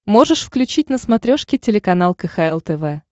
можешь включить на смотрешке телеканал кхл тв